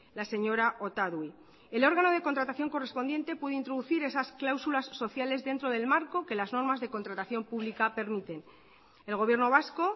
la señora otadui el órgano de contratación correspondiente puede introducir esas cláusulas sociales dentro del marco que las normas de contratación pública permiten el gobierno vasco